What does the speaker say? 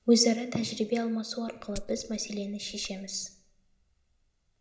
өзара тәжірибе алмасу арқылы біз мәселені шешеміз